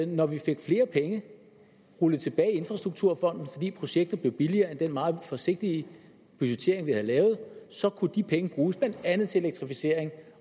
når vi fik flere penge rullet tilbage i infrastrukturfonden fordi projektet blev billigere end den meget forsigtige budgettering vi havde lavet så kunne de penge bruges blandt andet til elektrificering